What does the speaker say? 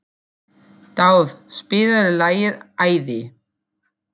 Dáð, spilaðu lagið „Æði“.